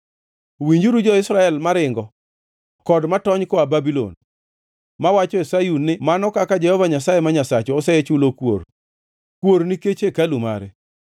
Winjuru jo-Israel maringo kod matony koa Babulon, mawacho e Sayun ni mano kaka Jehova Nyasaye ma Nyasachwa osechulo kuor, kuor nikech hekalu mare.